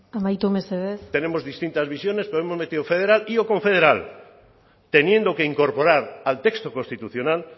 amaitu mesedez tenemos distintas visiones pero hemos federal y o confederal teniendo que incorporar al texto constitucional